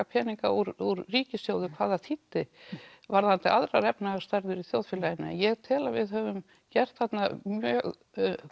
peninga úr ríkissjóðum hvað það þýddi varðandi aðrar efnahagsstærðir í þjóðfélaginu en ég tel að við höfum gert þarna mjög